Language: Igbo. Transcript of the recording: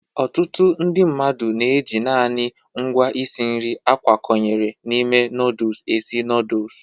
Ọtụtụ mmadụ na-eji naanị ngwa isi nri a kwakọnyere n'ime nọdụs esi nọdụs.